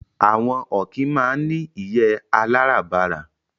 Àwọn ọ̀kín máa ń ní ìyé aláràbarà